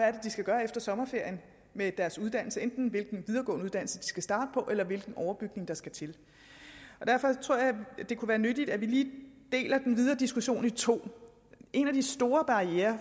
er de skal gøre efter sommerferien med deres uddannelse enten hvilken videregående uddannelse de skal starte på eller hvilken overbygning der skal til derfor tror jeg at det kunne være nyttigt at vi lige deler den videre diskussion i to en af de store barrierer